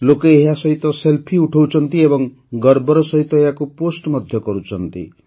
ଲୋକେ ଏହାସହିତ ସେଲ୍ଫି ଉଠାଉଛନ୍ତି ଏବଂ ଗର୍ବର ସହିତ ଏହାକୁ ପୋଷ୍ଟ ମଧ୍ୟ କରୁଛନ୍ତି